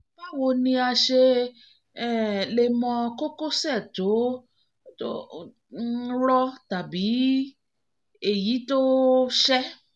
báwo ni a ṣe um lè mọ kókósẹ̀ tó um rọ́ tàbí rọ́ tàbí èyí tó um ṣẹ́?